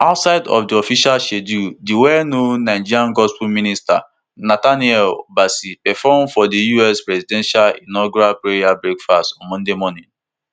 outside of di official schedule di wellknown nigerian gospel minister nathaniel bassey perform for di us presidential inaugural prayer breakfast on monday morning